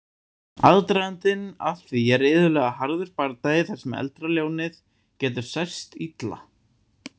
Aðdragandinn að því er iðulega harður bardagi þar sem eldra ljónið getur særst illa.